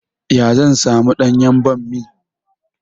Ya zan samu ɗanyan ɓammi?